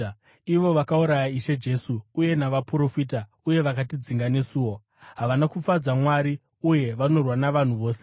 ivo vakauraya Ishe Jesu uye navaprofita uye vakatidzinga nesuwo. Havana kufadza Mwari uye vanorwa navanhu vose